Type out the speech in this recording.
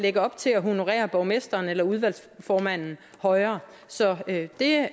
ikke op til at honorere borgmesteren eller udvalgsformanden højere så det er